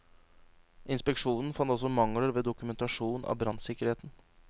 Inspeksjonen fant også mangler ved dokumentasjon av brannsikkerheten.